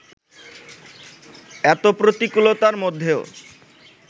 এত প্রতিকূলতার মধ্যেও